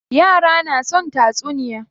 Yara na son tatsuniya.